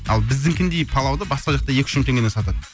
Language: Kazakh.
ал біздікіндей палауды басқа жақта екі үш мың теңгеден сатады